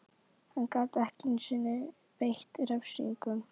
Hann gat ekki einu sinni beitt refsingum.